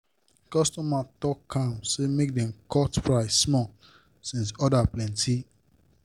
customer talk calm say make dem dem cut price small since order plenty.